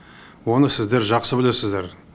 оны сіздер жақсы білесіздер